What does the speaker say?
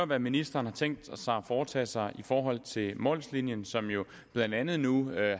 hvad ministeren har tænkt sig at foretage sig i forhold til mols linien som jo blandt andet nu